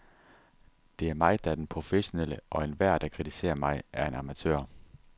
Det er mig, der er den professionelle, og enhver, der kritiserer mig, er en amatør.